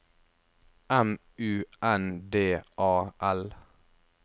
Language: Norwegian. M U N D A L